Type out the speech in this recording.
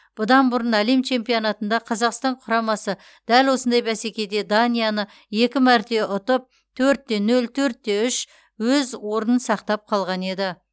бұдан бұрын әлем чемпионатында қазақстан құрамасы дәл осындай бәсекеде данияны екі мәрте ұтып төрт те нөл төрт те үш өз орнын сақтап қалған еді